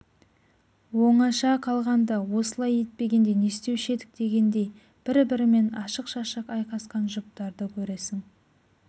оңаша қалғанда осылай етпегенде не істеуші едік дегендей бір-бірімен ашық-шашық айқасқан жұптарды көресің